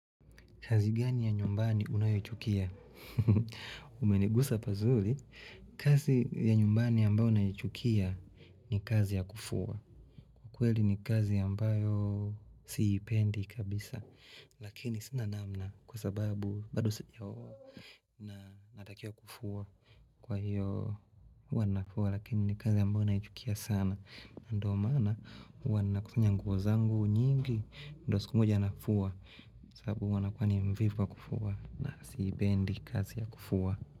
Kazi gani ya nyumbani unayochukia? Umenigusa pa zuri. Kazi ya nyumbani ambayo naichukia ni kazi ya kufua. Kweli ni kazi ambayo siipendi kabisa. Lakini sinanamna kwa sababu bado sijaoa na natakia kufuwa. Kwa hiyo huwanafuwa. Lakini ni kazi ambayo naichukia sana. Ndio maana huwana kusanya nguozangu nyingi. Ndio sikumoja nafuwa. Sababu huwanakuwani mvivu wa kufua na siipendi kazi ya kufua.